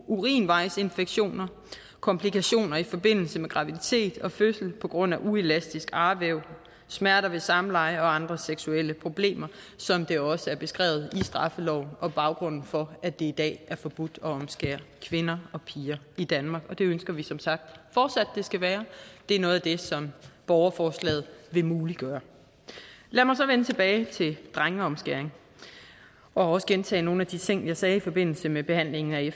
urinvejsinfektioner komplikationer i forbindelse med graviditet og fødsel på grund af uelastisk arvæv smerter ved samleje og andre seksuelle problemer som det også er beskrevet i straffeloven og baggrunden for at det i dag er forbudt at omskære kvinder og piger i danmark det ønsker vi som sagt fortsat at det skal være det er noget af det som borgerforslaget vil muliggøre lad mig så vende tilbage til drengeomskæring og også gentage nogle af de ting jeg sagde i forbindelse med behandlingen af